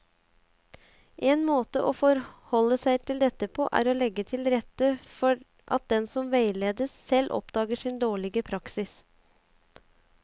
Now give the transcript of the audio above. En måte å forholde seg til dette på er å legge til rette for at den som veiledes, selv oppdager sin dårlige praksis.